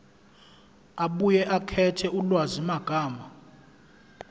abuye akhethe ulwazimagama